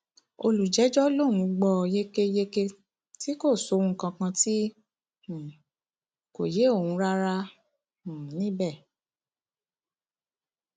olùjẹjọ lòún gbọ ọ yékéyéké tí kò sóhun kankan tí um kò yé òun rárá um níbẹ